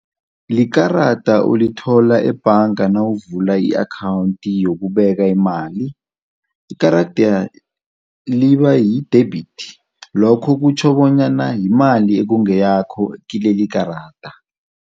Likarada olithola ebhanga nawuvula i-akhawunti yokubeka imali, ikarada liba yi-debit. Lokho kutjho bonyana yimali ekungeyakho kileli ikarada.